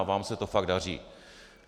A vám se to fakt daří.